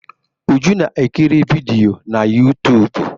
Uju na-ekiri vidiyo na YouTụ́b.